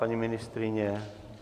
Paní ministryně?